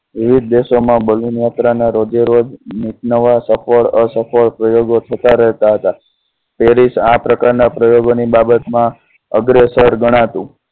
વિવિધ દેશો માં balloon યાત્રા ના રોજેરોજ નવા સફળ. રહતા પેરીસ આ પ્રકાર ના પ્રયોગ ની બાબત માં અગ્રેસર ગણા તું.